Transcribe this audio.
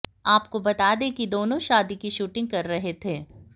आपको बता दें कि दोनों शादी की शूटिंग कर रहे थे